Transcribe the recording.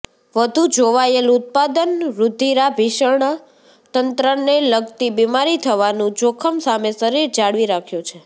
વધુ જોવાયેલ ઉત્પાદન રૂધિરાભિસરણ તંત્રને લગતી બિમારી થવાનું જોખમ સામે શરીર જાળવી રાખ્યો છે